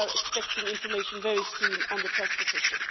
We are expecting information very soon on the transposition.